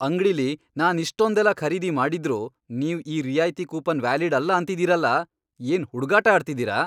ಅಂಗ್ಡಿಲಿ ನಾನ್ ಇಷ್ಟೊಂದೆಲ್ಲ ಖರೀದಿ ಮಾಡಿದ್ರೂ ನೀವ್ ಈ ರಿಯಾಯ್ತಿ ಕೂಪನ್ ವ್ಯಾಲಿಡ್ ಅಲ್ಲ ಅಂತಿದೀರಲ! ಏನ್ ಹುಡ್ಗಾಟ ಆಡ್ತಿದೀರ?!